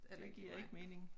Det giver ikke mening